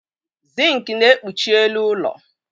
Zink na-ekpuchi elu ụlọ.